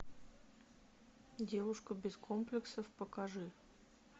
девушка без комплексов покажи